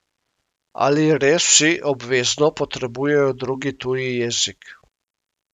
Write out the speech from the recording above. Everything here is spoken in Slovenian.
Ali res vsi obvezno potrebujejo drugi tuji jezik?